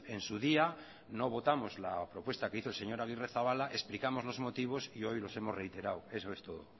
en su día no votamos la propuesta que hizo el señor agirrezabala explicamos los motivos y hoy los hemos reiterado eso es todo